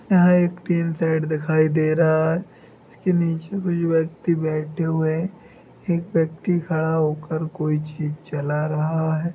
यहा एक रेड दिखाई दे रहा है इसके निचे कुछ व्यक्ति बैठे हुए है एक व्यक्ति खड़ा होकर कोई चीज़ चला रहा है।